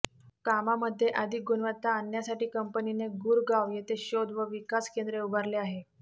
कामामध्ये अधिक गुणवत्ता आणण्यासाठी कंपनीने गुरगांव येथे शोध व विकास केंद्र उभारले आहे